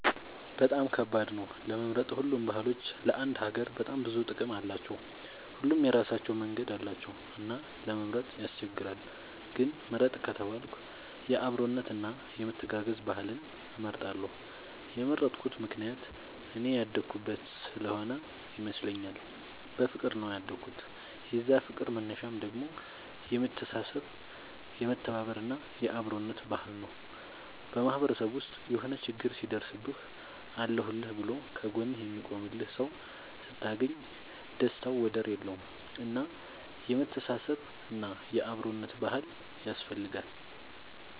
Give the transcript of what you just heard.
በጣም ከባድ ነው ለመምረጥ ሁሉም ባህሎች ለአንድ ሀገር በጣም ብዙ ጥቅም አላቸው። ሁሉም የራሳቸው መንገድ አላቸው እና ለመምረጥ ያስቸግራል። ግን ምርጥ ከተባልኩ የአብሮነት እና የመተጋገዝ ባህልን እመርጣለሁ የመረጥኩት ምክንያት እኔ ያደኩበት ስሆነ ይመስለኛል። በፍቅር ነው ያደኩት የዛ ፍቅር መነሻው ደግሞ የመተሳሰብ የመተባበር እና የአብሮነት ባህል ነው። በማህበረሰብ ውስጥ የሆነ ችግር ሲደርስብህ አለሁልህ ብሎ ከ ጎንህ የሚቆምልህ ሰው ስታገኝ ደስታው ወደር የለውም። እና የመተሳሰብ እና የአብሮነት ባህል ያስፈልጋል